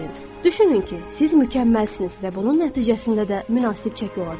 Düşünün ki, siz mükəmməlsiniz və bunun nəticəsində də münasib çəki olacaq.